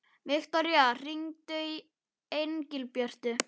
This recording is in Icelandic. Viktoría, hringdu í Engilbjörtu.